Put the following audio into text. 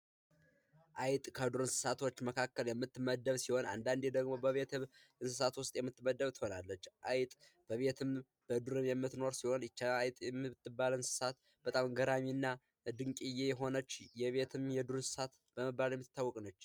አይጥ ከዱር እንስሳት መካከል የምትመደብ ሲሆን አንዳንዴ ደግሞ ከቤት እንስሳቶች ውስጥ የምትመደብ ትሆናለች አይጥ በምድር ላይ የምትኖር ሲሆን አንዳንዴ በጣም ገራሚና ድንቅዬ የሆነ የዱር እንስሳት በመባል የምትታወቅ ነች።